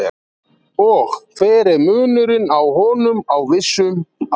Og hver er munurinn á honum á vissum aldri?